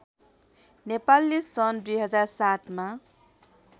नेपालले सन् २००७ मा